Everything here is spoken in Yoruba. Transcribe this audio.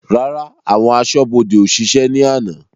Rárá, àwọn aṣọ́bodè ó ṣiṣẹ́ ni àná.